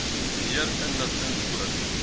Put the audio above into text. meer inligting oor